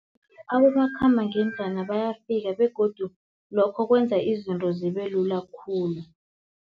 Abomakhambangendlwana bayafika begodu lokho kwenza izinto zibe lula khulu.